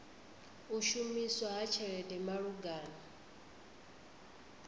u shumiswa ha tshelede malugana